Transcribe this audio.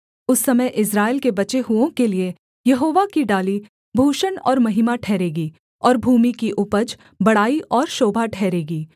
उस समय इस्राएल के बचे हुओं के लिये यहोवा की डाली भूषण और महिमा ठहरेगी और भूमि की उपज बड़ाई और शोभा ठहरेगी